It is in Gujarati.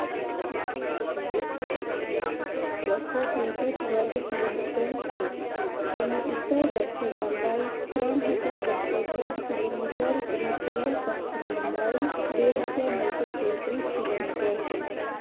બસ્સો ત્રેસઠ વર્ગ કિલોમીટર છે તેને ઉત્તર દક્ષિ લંબાઇ ત્રણહજાર બસ્સોચૌદ કિલોમીટર અને પૂર્વ પશ્ચિમ લંબાઈ બેહજાર નવસો તેત્રીસ કિલોમીટર છે